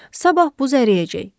Sabah buz əriyəcək.